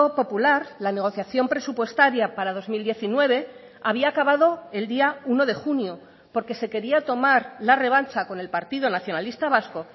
popular la negociación presupuestaria para dos mil diecinueve había acabado el día uno de junio porque se quería tomar la revancha con el partido nacionalista vasco